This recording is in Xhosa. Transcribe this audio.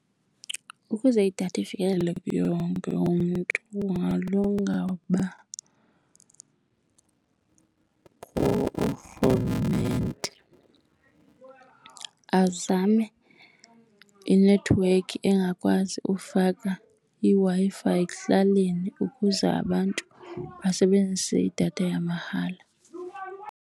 Ukuze idatha ifikeleleke kuye wonke umntu kungalunga ukuba urhulumente azame inethiwekhi engakwazi ufaka iWi-Fi ekuhlaleni ukuze abantu basebenzise idatha yamahala.